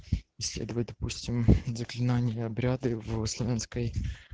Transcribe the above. исследуем допустим заклинания обряды в славянской